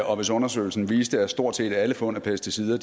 og hvis undersøgelsen viste at stort set alle fund af pesticider